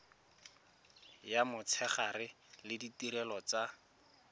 ya motshegare le ditirelo tsa